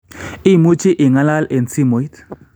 Imuchi ingalal eng simuit.